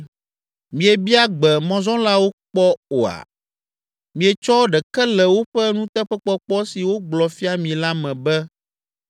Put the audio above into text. Miebia gbe mɔzɔlawo kpɔ oa? Mietsɔ ɖeke le woƒe nuteƒekpɔkpɔ si wogblɔ fia mi la me be